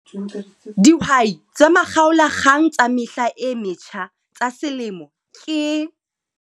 Dihwai tsa Makgaolakgang tsa Mehla e Metjha tsa Selemo ke...